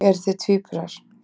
Eruð þið tvíburar?